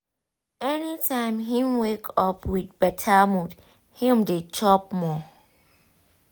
anytime him wake up with better mood him dey chop more.